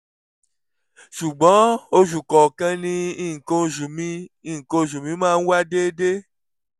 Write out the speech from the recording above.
ṣùgbọ́n oṣù kọ̀ọ̀kan ni nǹkan oṣù mi nǹkan oṣù mi máa ń wá déédé